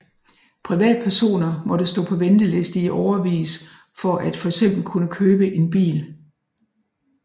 Privatpersoner måtte stå på venteliste i årevis for at fx kunne købe en bil